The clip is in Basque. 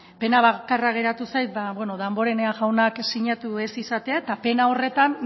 pena bakarra geratu zait ba damborenea jaunak sinatu ez izatea eta pena horretan